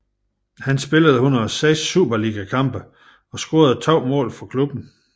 Han spillede 106 superligakampe og scorede to mål for klubben